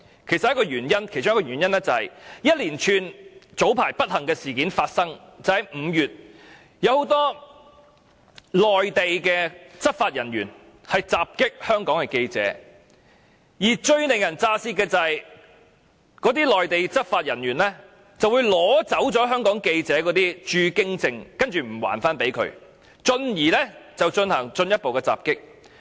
其中一個原因就是早前在5月發生一連串不幸事件，有很多內地執法人員襲擊香港的記者，而最令人咋舌的是，那些內地執法人員會取走香港記者的駐京證而不予歸還，繼而進行進一步的襲擊。